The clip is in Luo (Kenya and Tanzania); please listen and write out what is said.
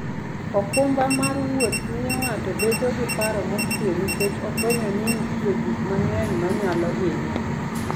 okumba mar wuoth miyo ng'ato bedo gi paro mokuwe nikech ofwenyo ni nitie gik mang'eny manyalo hinye.